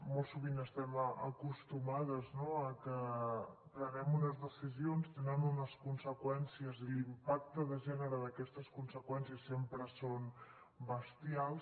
molt sovint estem acostumades no a que prenem unes decisions tenen unes conseqüències i l’impacte de gènere d’aquestes conseqüències sempre són bestials